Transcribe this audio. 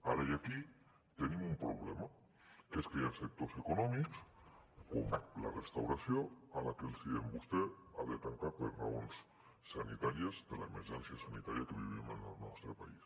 ara i aquí tenim un problema que és que hi ha sectors econòmics com la restauració a la que els diem vostè ha de tancar per raons sanitàries de l’emergència sanitària que vivim en el nostre país